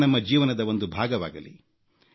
ಕ್ರೀಡೆ ನಮ್ಮ ಜೀವನದ ಒಂದು ಭಾಗವಾಗಲಿ